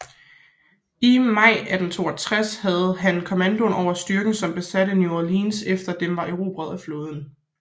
I maj 1862 havde han kommandoen over styrken som besatte New Orleans efter at den var erobret af flåden